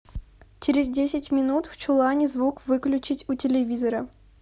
через десять минут в чулане звук выключить у телевизора